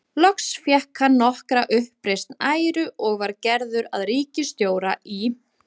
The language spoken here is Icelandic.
Loks fékk hann nokkra uppreisn æru og var gerður að ríkisstjóra í